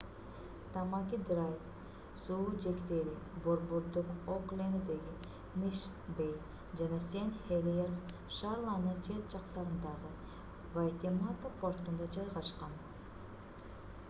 тамаки драйв суу жээктери борбордук окленддеги мишн бей жана сен хелиерс шаарларынын чет жактарындагы вайтемата портунда жайгашкан